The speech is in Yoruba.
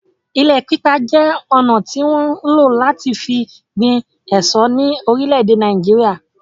Ilẹ̀ pípa je ọna tí wọn ń lo láti fi gbin èso ní orílè èdè Nàìjíríà